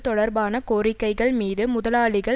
தொடர்பான கோரிக்கைகள் மீது முதலாளிகள்